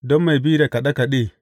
Don mai bi da kaɗe kaɗe.